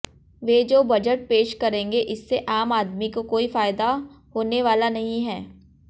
वे जो बजट पेश करेंगे इससे आम आदमी को कोई फायदा होने वाला नहीं है